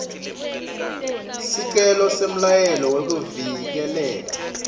sicelo semyalelo wekuvikeleka